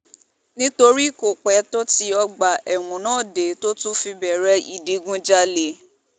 nítorí kò pẹ́ tó tí ọgbà ẹ̀wọ̀n náà dé tó tún fi bẹ̀rẹ̀ ìdígunjalè